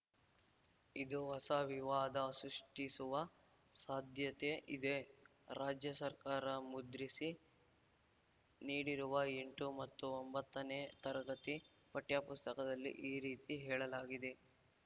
ಇದು ಹೊಸ ವಿವಾದ ಸೃಷ್ಟಿಸುವ ಸಾಧ್ಯತೆ ಇದೆ ರಾಜ್ಯ ಸರ್ಕಾರ ಮುದ್ರಿಸಿ ನೀಡಿರುವ ಎಂಟು ಮತ್ತು ಒಂಬತ್ತನೇ ತರಗತಿ ಪಠ್ಯಪುಸ್ತಕದಲ್ಲಿ ಈ ರೀತಿ ಹೇಳಲಾಗಿದೆ